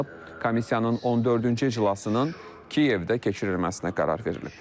Komissiyanın 14-cü iclasının Kiyevdə keçirilməsinə qərar verilib.